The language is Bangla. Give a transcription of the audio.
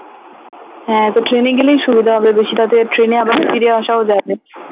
হ্যাঁ তো ট্রেনে গেলেই সুবিধা হবে ট্রেনে আবার ফিরে আসাও যাবে